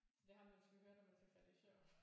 Så det er ham du måske hører når du skal falde i søvn